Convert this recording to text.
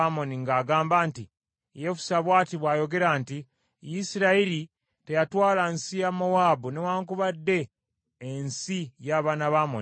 ng’agamba nti, “Yefusa bw’ati bw’ayogera nti, ‘Isirayiri teyatwala nsi ya Mowaabu newaakubadde ensi y’abaana ba Amoni.